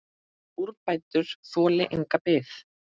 Úrbætur þoli enga bið.